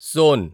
సోన్